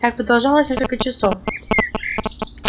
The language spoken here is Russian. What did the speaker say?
так продолжалось несколько часов